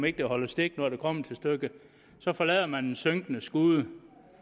ikke holder stik når det kommer til stykket så forlader man den synkende skude